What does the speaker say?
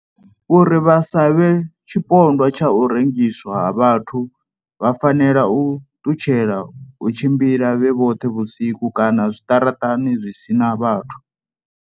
Uri vha sa vhe tshipondwa tsha u rengiswa ha vhathu vha fanela u ṱutshela u tshi mbila vhe vhoṱhe vhusiku kana zwiṱaraṱani zwi si na vhathu.